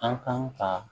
An kan ka